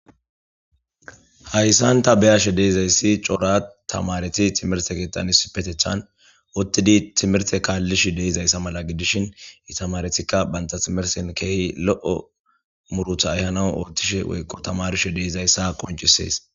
Hayssanta beyashe deezayssi coora tamareti timirte kixani sipetecthan ottidi timirte kaallish deizayssa mala gidishin itamaretikka banta timirsen keehi lo7o murutha ayhana ootishe woyqqo tamarishe deizayssa qoncisees.